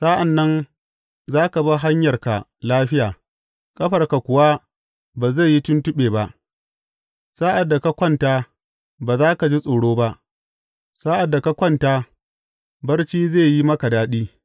Sa’an nan za ka bi hanyarka lafiya, ƙafarka kuwa ba zai yi tuntuɓe ba; sa’ad da ka kwanta, ba za ka ji tsoro ba; sa’ad da ka kwanta, barci zai yi maka daɗi.